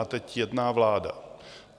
A teď jedná vláda.